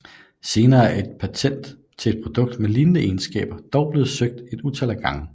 Senere er patentet til et produkt med lignende egenskaber dog blevet søgt et utal af gange